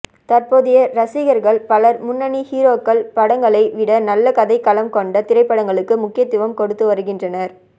தற்போதைய ரசிகர்கள் பலர் முன்னணி ஹீரோக்கள் படங்களை விட நல்ல கதை களம் கொண்ட திரைப்படங்களுக்கு முக்கியத்துவம் கொடுத்து வருகின்றனர்